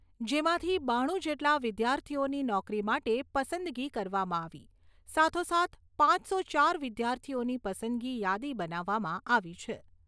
જેમાંથી બાણું જેટલા વિદ્યાર્થીઓની નોકરી માટે પસંદગી કરવામાં આવી સાથોસાથ પાંચસો ચાર વિદ્યાર્થીઓની પસંદગી યાદી બનાવવામાં આવી છે.